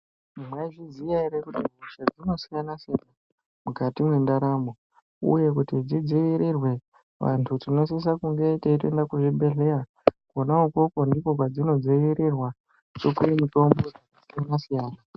Maizviziya ere kuti hosha dzinosiyana -siyana mukati mwendaramo uye kuti dzidzivirirwe vantu tinosise kunge teitoenda kuzvibhedhleya, Kona ikokwo ndokwadzino dzvivirirwa tichipiwa mitombo dzakasiyana -siyana.